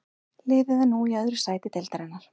Liðið er nú í öðru sæti deildarinnar.